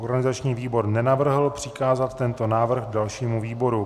Organizační výbor nenavrhl přikázat tento návrh dalšímu výboru.